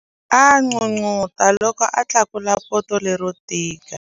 A n'unun'uta loko a tlakula poto lero tika.